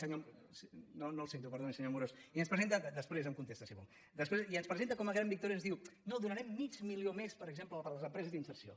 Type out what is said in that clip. no el sento perdoni senyor amorós després em contesta si vol i ens presenta com a gran victòria i ens diu no donarem mig milió més per exemple per a les empreses d’inserció